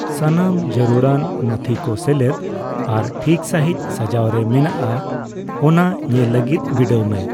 ᱥᱟᱱᱟᱢ ᱡᱟᱹᱨᱩᱲᱟᱱ ᱱᱚᱛᱷᱤ ᱠᱚ ᱥᱮᱞᱮᱫ ᱟᱨ ᱴᱷᱤᱠ ᱥᱟᱸᱦᱤᱡ ᱥᱟᱡᱟᱣᱨᱮ ᱢᱮᱱᱟᱜᱼᱟ ᱚᱱᱟ ᱧᱮᱞ ᱞᱟᱹᱜᱤᱫ ᱵᱤᱰᱟᱹᱣ ᱢᱮ ᱾